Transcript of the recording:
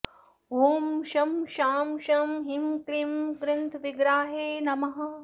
ॐ शं शां षं ह्रीं क्लीं ग्रन्थविग्रहाय नमः